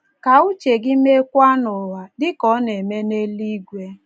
Ka uche gị meekwa n’ụwa, dị ka ọ na - eme n’eluigwe.